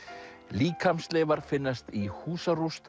líkamsleifar finnast í